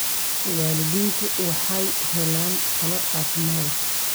Waalidiintu waxay helaan talo caafimaad.